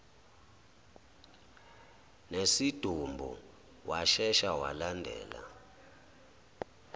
nesidumbu washesha walandela